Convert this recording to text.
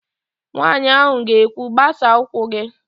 Nwaanyị ahụ ga-ekwu, "gbasaa ụkwụ gị"!